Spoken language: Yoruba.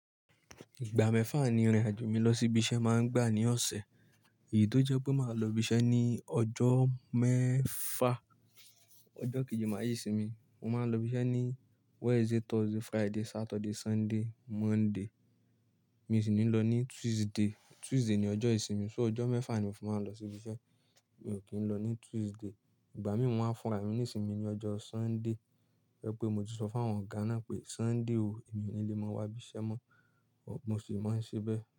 Ìgbà mẹ́fà ni ìrìn-àjò mi lọ sí ibi iṣẹ́ máa ń gbà ní ọ̀sẹ̀. Èyí tó jẹ́ pé màá lọ ibi iṣẹ́ ní ọjọ́ mẹ́fà. Ọjọ́ kejì máa rayé sí mi. Mo máa ń lọ ibi iṣẹ́ ní Wednesday, Thursday, Friday, Saturday, Sunday, Monday. Mi ò sì ní lọ ní Tuesday. Tuesday ni ọjọ́ ìsinmi. So ọjọ́ mẹ́fà ni mo fi máa ń lọ sí ibi iṣẹ́. Mi ò kí ń lọ ní Tuesday. Ìgbà mí mo maa n fúnra mi nísinsìnyí ní ọjọ́ Sunday. To je pé mo ti sọ fún àwọn ọ̀gá náà pé Sunday o, èmi ò ní lè máa wá ibi iṣẹ́ mọ́. Mo sì máa ń ṣí bẹ́ẹ̀